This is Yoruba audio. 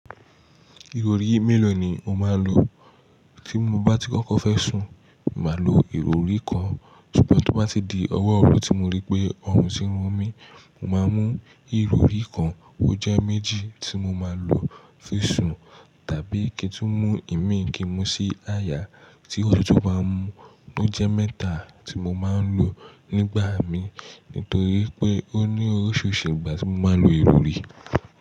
Ìrọrí mélòó ni o máa ń lo? Tí mo bá tí kọ́kọ́ fẹ́ sùn, màá lo ìrọrí kan. Sutúbọ̀ tó bá ti di ọwọ́ òru tí mo rí pé ọrùn ti run mí, mo máa mú ìrọrí kan ó jẹ́ méjì tí mo máa ń lo fún sùn. Tàbí kí n tó mú ìmíì mi kí n mu sí àyà tí òtútù bá ń mú, ó jẹ́ mẹ́ta tí mo máa ń lò nígbà mi. Nítorí pé ó ní oríṣiríṣi ìgbà tí mo máa ń lo ìrọrí.